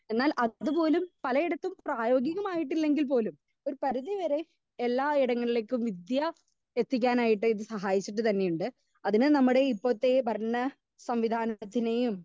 speaker 2 എന്നാൽ അതുപോലും പലയിടത്തും പ്രയോഗികമായിട്ടില്ലെങ്കിൽ പോലും ഒരു പരിധി വരെ എല്ലായിടങ്ങളിലേക്കും വിദ്യാ എത്തിക്കാനായിട്ട് ഇത് സഹായിച്ചിട്ട് തന്നെയിണ്ട് അതിന് നമ്മുടെ ഇപ്പോത്തെ ഭരണ സംവിധാനത്തിനെയും